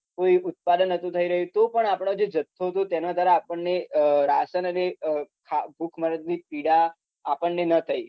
કોઈ ઉત્પાદન નતુ થઇ રહ્યું તોપણ આપડ જે જથ્થો હતો તેના દ્વારા આપણને અમ રાશન અને અમ ખાવા ભૂખમરો ની પીડા આપણને ન થઇ